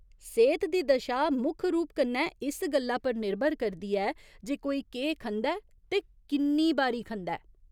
सेह्त दी दशा मुक्ख रूप कन्नै इस गल्ला पर निर्भर करदी ऐ जे कोई केह् खंदा ऐ ते किन्नी बारी खंदा ऐ।